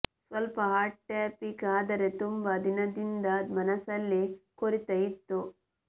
ಸ್ವಲ್ಪ hot topic ಆದರೆ ತುಂಬಾ ದಿನದಿಂದ ಮನಸಲ್ಲಿ ಕೊರೀತಾ ಇತ್ತು